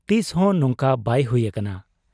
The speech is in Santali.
ᱛᱤᱥᱦᱚᱸ ᱱᱚᱝᱠᱟ ᱵᱟᱭ ᱦᱩᱭ ᱟᱠᱟᱱᱟ ᱾